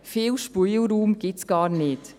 Viel Spielraum gibt es gar nicht.